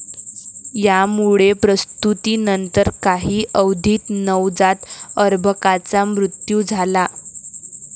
यामुळे प्रसूतीनंतर काही अवधीत नवजात अर्भकाचा मृत्यू झाला.